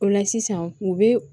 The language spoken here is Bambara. O la sisan u be